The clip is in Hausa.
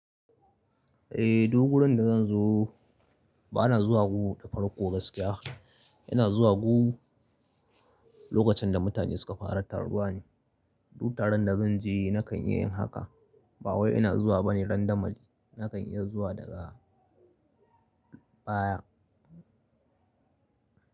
Eh, du gurin da zan zo ba na zuwa gu da farko gaskiya. Yana zuwa gu lokacin da mutane suka fara taruwa ne. Dut taron da zan je na kan iya yin haka. Ba wai ina zuwa bane randamali. Na kan iya zuwa daga baya.